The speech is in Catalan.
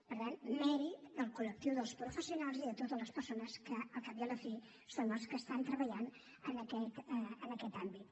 per tant mèrit del col·lectiu dels professionals i de totes les persones que al cap i a la fi són els que estan treballant en aquest àmbit